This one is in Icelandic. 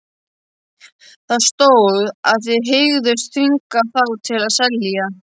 Það stóð, að þið hygðust þvinga þá til að selja